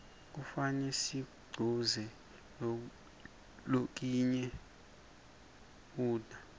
kufane sikuquze lokinye ludca